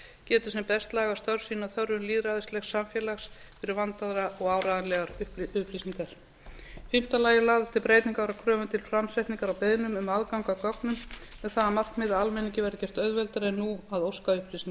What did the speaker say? geti sem best lagað störf sín að þörfum lýðræðislegt samfélags fyrir vandaðar og áreiðanlegar upplýsingar í fimmta lagi er lagðar til breytingar á kröfum til framsetningar á beiðnum um aðgang að gögnum með sama markmiði að almenningi verði gert auðveldara en nú að óska upplýsinga